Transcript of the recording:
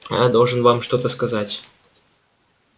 я должен вам что-то сказать